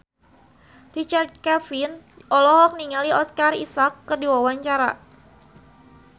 Richard Kevin olohok ningali Oscar Isaac keur diwawancara